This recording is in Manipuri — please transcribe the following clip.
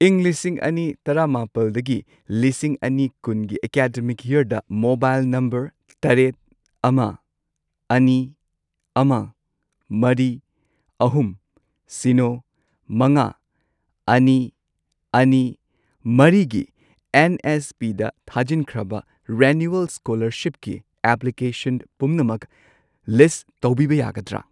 ꯢꯪ ꯂꯤꯁꯤꯡ ꯑꯅꯤ ꯇꯔꯥꯃꯥꯄꯜꯗꯒꯤ ꯂꯤꯁꯤꯡ ꯑꯅꯤꯀꯨꯟꯒꯤ ꯑꯦꯀꯥꯗꯃꯤꯛ ꯌꯔꯗ ꯃꯣꯕꯥꯏꯜ ꯅꯝꯕꯔ ꯇꯔꯦꯠ, ꯑꯃ, ꯑꯅꯤ, ꯑꯃ, ꯃꯔꯤ, ꯑꯍꯨꯝ, ꯁꯤꯅꯣ, ꯃꯉꯥ, ꯑꯅꯤ, ꯑꯅꯤ, ꯃꯔꯤꯒꯤ ꯑꯦꯟ.ꯑꯦꯁ.ꯄꯤ.ꯗ ꯊꯥꯖꯤꯟꯈ꯭ꯔꯕ ꯔꯤꯅ꯭ꯌꯨꯋꯦꯜ ꯁ꯭ꯀꯣꯂꯔꯁꯤꯞꯀꯤ ꯑꯦꯄ꯭ꯂꯤꯀꯦꯁꯟ ꯄꯨꯝꯅꯃꯛ ꯂꯤꯁ꯭ꯠ ꯇꯧꯕꯤꯕ ꯌꯥꯒꯗ꯭ꯔꯥ?